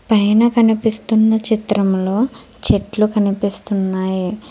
పైన కనిపిస్తున్న చిత్రంలో చెట్లు కనిపిస్తున్నాయి.